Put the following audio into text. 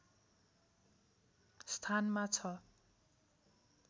स्थानमा छ